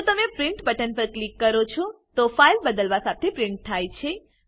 જો તમે print button પર ક્લિક કરો છો તો ફાઈલ બદ્લાવ સાથે પ્રિન્ટ થાય છે